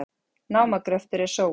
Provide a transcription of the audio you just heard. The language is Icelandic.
Námagröftur er sóun